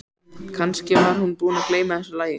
Kannski var hún búin að gleyma þessu lagi.